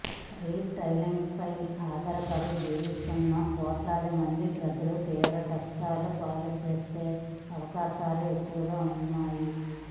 రిటైల్రంగంపై ఆధారపడి జీవిస్తున్న కోట్లాదిమంది ప్రజలను తీవ్రంగా కష్టాల పాలుచేసే అవకాశాలే ఎక్కువగాఉంటాయి